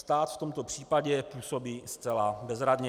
Stát v tomto případě působí zcela bezradně.